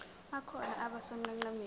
akhona abe sonqenqemeni